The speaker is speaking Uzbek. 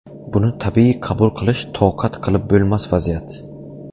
Buni tabiiy qabul qilish toqat qilib bo‘lmas vaziyat.